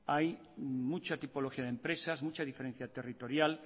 hay mucha tipología de empresas mucha diferencia territorial